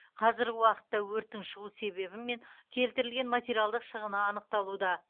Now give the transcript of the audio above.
қазіргі уақытта өрттің шығу себебі мен келтірілген материалдық шығыны анықталуда